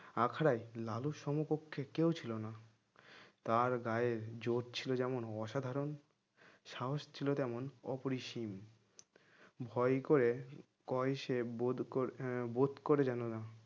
আখড়াই লালুর সমকক্ষে কেউ ছিলনা তার গায়ে জোর ছিল যেমন অসাধারণ সাহস ছিল তেমন অপরিসীম ভয় করে কইসে বোধ করে আহ বোধ করে জানানো হয়